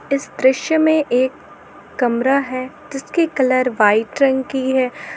इस दृश्य में एक कमरा है जिसका कलर वाइट रंग का है।